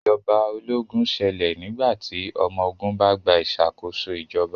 Ìjọba ológun ṣẹlẹ̀ nígbà tí ọmọ ogun bá gba ìṣàkóso ìjọba